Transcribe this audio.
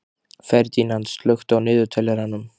Ferdínand, slökktu á niðurteljaranum.